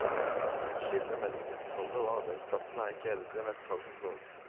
Skillet mellom husholdet og arbeidsplassen er ikke eldre enn et par hundre år.